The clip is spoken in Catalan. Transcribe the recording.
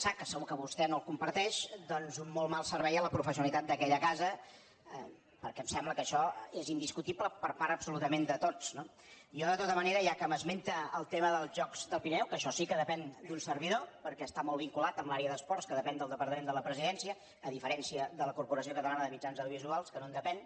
sar que segur que vostè no comparteix doncs un molt mal servei a la professionalitat d’aquella casa perquè em sembla que això és indiscutible per part absolutament de tots no jo de tota manera ja que m’esmenta el tema dels jocs del pirineu que això sí que depèn d’un servidor perquè està molt vinculat amb l’àrea d’esports que depèn del departament de la presidència a diferència de la corporació catalana de mitjans audiovisuals que no en depèn